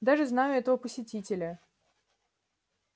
даже знаю этого посетителя